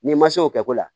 N'i ma se o kɛ ko la